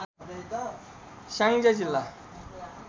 स्याङ्जा जिल्ला